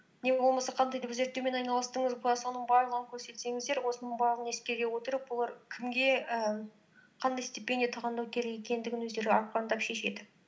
не болмаса қандай зерттеумен айналыстыңыз соның барлығын көрсетсеңіздер осының барлығын ескере отырып олар кімге і қандай стипендия тағайындау керек екендігін өздері ақырындап шешеді